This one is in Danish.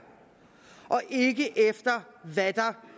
og ikke efter hvad der